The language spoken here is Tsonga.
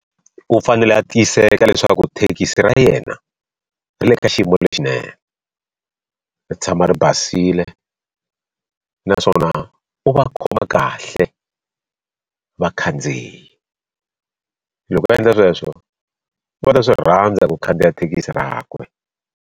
U fanele a tiyiseka leswaku thekisi ra yena ri le ka xiyimo lexinene ri tshama ri basile naswona u va khoma kahle vakhandziyi loko a endla sweswo va ta swi rhandza ku khandziya thekisi rakwe.